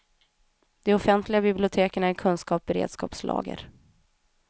De offentliga biblioteken är kunskapens beredskapslager.